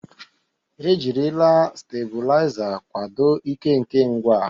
Ejirila stebuliza kwado ike nke ngwa.